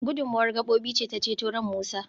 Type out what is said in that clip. gudummawar gabobi ce ta ceto ran Musa